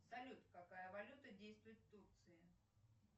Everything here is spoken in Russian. салют какая валюта действует в турции